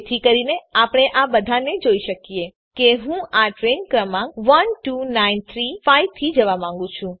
જેથી કરીને આપણે આ બધાને જોઈ શકીએ માની લો કે હું આ ટ્રેઈન ક્રમાંક 12935 થી જવા માંગું છું